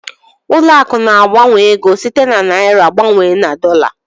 Ụlọ akụ̀ na-agbanwe ego site na naịra gbanwee na dọla.